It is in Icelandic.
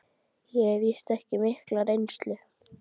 Ég hef víst ekki mikla reynslu.